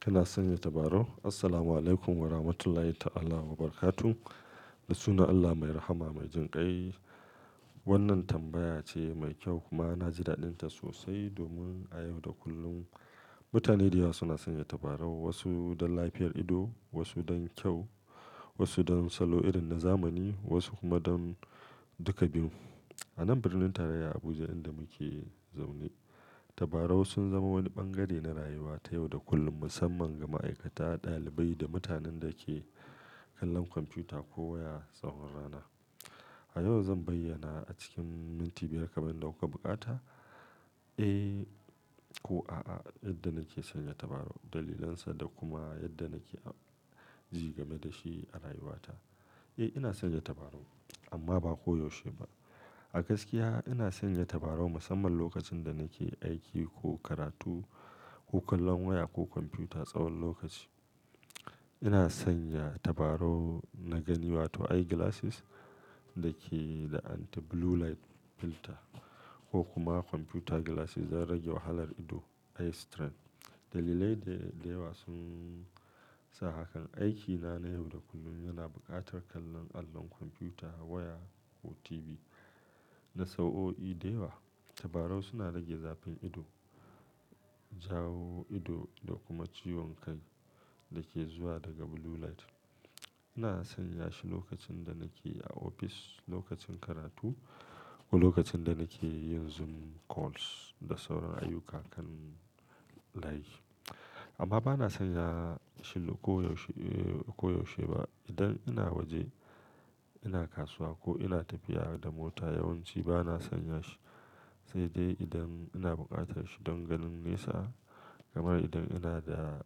Kana sanya tabarau? Assalamualaikum warahmatullahi ta'ala wabarakatuh. Da sunan Allah mai rahama mai jin kai. Wannan tambaya ce mai kyau kuma na ji daɗinta sosai domin a yau da kullum mutane da yawa suna sanya tabarau. Wasu don lafiyar ido, wasu don kyau, wasu don salo irin na zamani, wasu kuma don duka biyu. A nan birnin tarayya Abuja inda muke zaune, tabarau sun zama wani bangare na rayuwa ta yau da kullun, musamman ga ma'aikata, ɗalibai da mutanen da ke kallon kwamfuta ko waya tsawon rana. A yau zan bayyana a cikin minti biyar kamar dauka bukata, eh ko a'a yadda nake sanya tabarau, dalilansa da kuma yadda nake ji game da shi a rayuwata. Eh, ina sanya tabarau amma ba koyaushe ba. A gaskiya ina sanya tabarau musamman lokacin da nake aiki ko karatu ko kallon waya ko kwamfuta tsawon lokaci. Ina sanya tabarau na gani wato eye glasses da ke da anti blue light filter ko kuma kwamfuta glasses don rage wahalar ido, eye strain. Dalilai da yawa sun sa hakan. Aiki na na yau da kullum yana buƙatar kallon allon kwamfuta, waya ko TV na sa'o'i da yawa. Tabarau suna rage zafin ido, jawo ido da kuma ciwon kai da ke zuwa daga blue light. Ina sanya shi lokacin da nake a ofis, lokacin karatu ko lokacin da nake yin Zoom calls da sauran ayyuka kan layi. Amma bana sanya shi koyaushe, koyaushe ba. Idan ina waje, ina kasuwa ko ina tafiya da mota yawanci bana sanya shi. Sai dai idan ina buƙatar shi don ganin nesa kamar idan ina da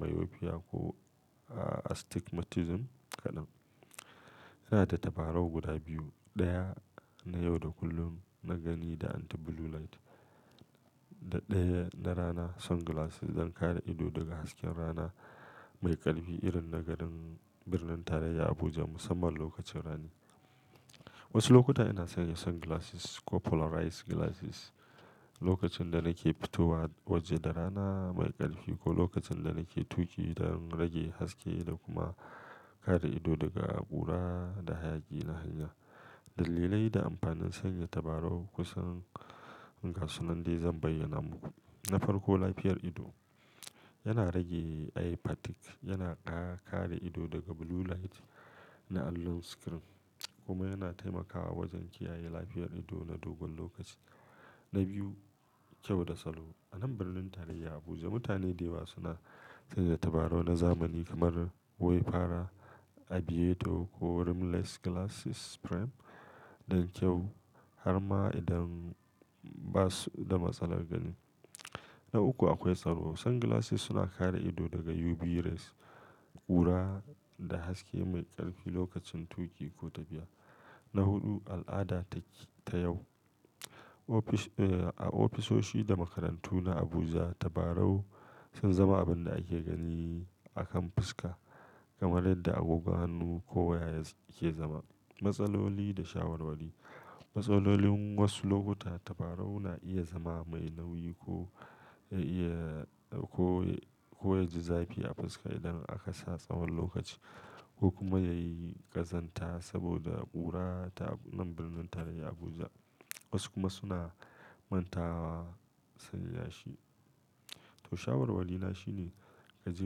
myopia ko astigmatism kaɗan. Ina da tabarau guda biyu, ɗaya na yau da kullum na gani da anti blue light da ɗaya na rana sunglasses don kare ido daga hasken rana mai ƙarfi irin na garin birnin tarayya Abuja musamman lokacin rani. Wasu lokuta ina sanya sunglasses ko polarized glasses lokacin da nake fitowa waje da rana mai ƙarfi ko lokacin da nake tuki don rage haske da kuma kare ido daga ƙura da hayaƙi na hanya. Dalilai da amfanin sanya tabarau kusan gasu nan dai zan bayyana muku. Na farko lafiyar ido. Yana rage eye fatigue, yana kare ido daga blue light na allon screen kuma yana taimakawa wajen kiyaye lafiyar ido na dogon lokaci. Na biyu, kyau da salo. A nan birnin tarayya Abuja mutane da yawa suna sanya tabarau na zamani kamar wayfarer, aviator ko rimless glasses frame don kyau har ma idan ba su da matsalar gani. Na uku akwai salo. Sunglasses suna kare ido daga UV rays, ƙura da haske mai ƙarfi lokacin tuki ko tafiya. Na huɗu, al'ada ta yau. A ofisoshi da makarantu na Abuja tabarau sun zama abin da ake gani a kan fuska kamar yadda agogon hannu ko waya yake zama. Matsaloli da shawarwari. Matsalolin wasu lokuta tabarau na iya zama mai nauyi ko ya iya, ko, ko ya ji zafi a fuska idan aka sa tsawon lokaci ko kuma ya yi ƙazanta saboda ƙura ta nan birnin tarayya Abuja. Wasu kuma suna manta wa sanya shi. To shawarwari na shine ka je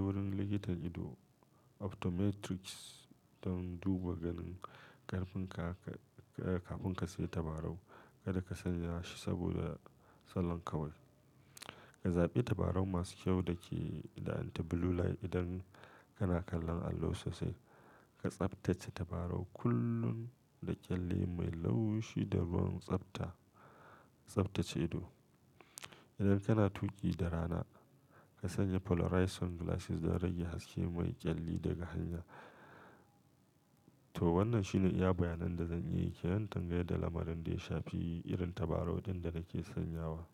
wurin likitan ido, optometrist don duba ganin ƙarfin ka kafin ka sayi tabarau. Kada ka sanya shi saboda salon kawai. Ka zaɓi tabarau masu kyau da ke da anti blue light idan kana kallon allo sosai. Ka tsaftace tabarau kullum da kyalle mai laushi da ruwan tsafta. Tsaftace ido. Idan kana tuki da rana, ka sanya polarized sunglasses don rage haske mai ƙyalli daga hanya. To wannan shine iya bayanan da zan iya yi ke nan dangane da lamarin da ya shafi irin tabarau ɗin da nake sanyawa.